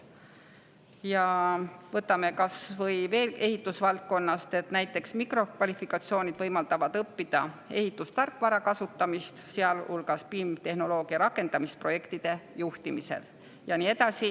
Ja võtame veel ühe näite ehitusvaldkonnast: mikrokvalifikatsioonid võimaldavad õppida ehitustarkvara kasutamist, sealhulgas BIM-tehnoloogia rakendamist projektide juhtimisel.